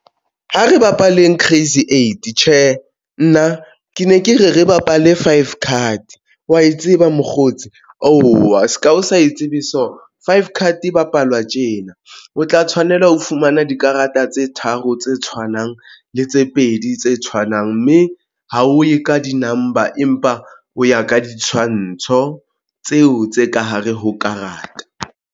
Ha re bapale Crazy Eight tjhe, nna ke ne ke re re bapale Five Card wa e tseba mokgotsi owa se ka o sa e tsebe. So Five Card bapalwa tjena o tla tshwanela ho fumana dikarata tse tharo tse tshwanang le tse pedi tse tshwanang, mme ha o ye ka di-number, empa o ya ka ditshwantsho tseo tse ka hare ho karata.